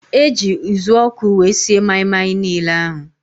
Eji uzuọkụ wee sie maị-maị niile ahụ